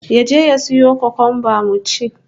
Ya je ya sayo kukumba mun ci